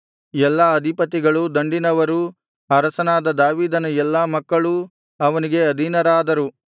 ಎಲ್ಲಾ ಅಧಿಪತಿಗಳೂ ದಂಡಿನವರೂ ಅರಸನಾದ ದಾವೀದನ ಎಲ್ಲಾ ಮಕ್ಕಳೂ ಅವನಿಗೆ ಅಧೀನರಾದರು